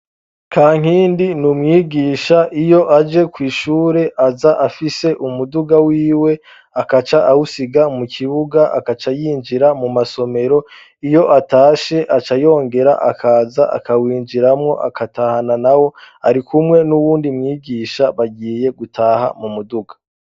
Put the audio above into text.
kankindi ni umwigisha iyo aje kw' ishure aza afise umuduga wiwe akaca awusiga mu kibuga akacayinjira mu masomero iyo atashe acayongera akaza akawinjiramwo akatahana naho arikumwe n'uwundi mwigisha bagiye gutaha mu muduga